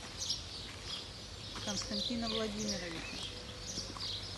константина владимировича